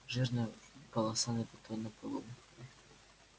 жирная полоса на бетонном полу